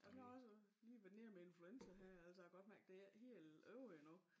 Jamen jeg har også øh lige været nede med influenza her altså jeg kan godt mærke det ikke helt ovre endnu